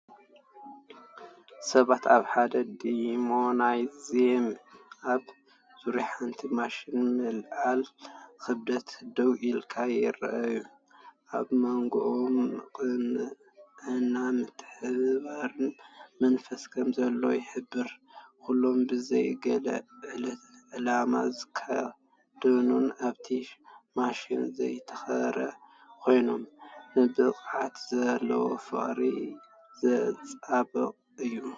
ሰባት ኣብ ሓደ ጂምናዝየም ኣብ ዙርያ ሓንቲ ማሽን ምልዓል ክብደት ደው ኢሎም ይረኣዩ። ኣብ መንጎኦም ቅንዕናን ምትሕብባርን መንፈስ ከምዘሎ ይሕብር። ኩሎም ብዘይ ገለ ዕላማ ዝተኸድኑን ኣብቲ ማሽን ዘተኮሩን ኮይኖም፡ ንብቕዓት ዘለዎም ፍቕሪ ዘንጸባርቕ እዩ።